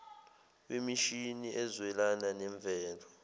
wemishini ezwelana nemvelo